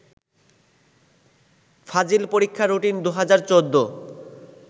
ফাজিল পরীক্ষার রুটিন ২০১৪